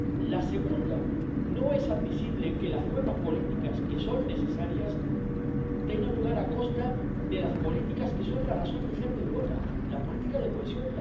La segunda, no es admisible que las nuevas políticas, que son necesarias, tengan lugar a costa de las políticas que son la razón de ser de Europa la política de cohesión